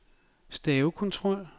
stavekontrol